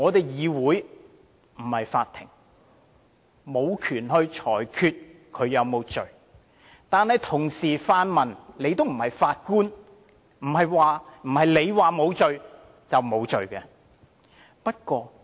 議會不是法庭，無權裁決他有沒有罪，但同樣，泛民也不是法官，不是他們說他沒罪，他便沒有罪。